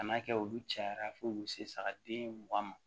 Kan'a kɛ olu cayara fo k'u se saga den mugan ma